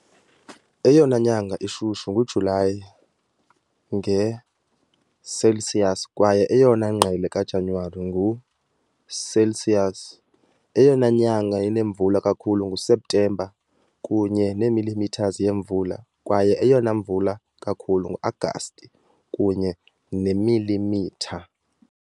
Eyona nyanga ishushu nguJulayi, nge-Celsius, kwaye eyona ngqele kaJanuwari, ngo-Celsius. Eyona nyanga inemvula kakhulu nguSeptemba, kunye ne millimeters yemvula, kwaye eyona imvula kakhulu ngu-Agasti, kunye neemilimitha .